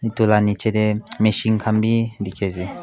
etu la nichey tae machine khan vi dekhi ase.